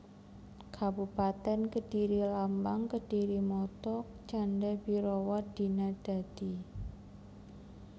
Kabupatèn KedhiriLambang KedhiriMotto Canda bhirawa Dina Dadi